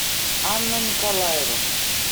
анна николаева